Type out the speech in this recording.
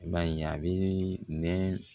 I b'a ye a bɛ nɛn